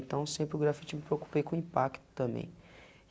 Então sempre o grafite me preocupei com o impacto também.